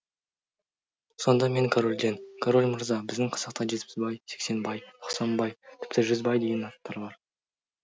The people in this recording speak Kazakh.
сонда мен корольден король мырза біздің қазақта жетпісбай сексенбай тоқсанбай тіпті жүзбай деген аттар бар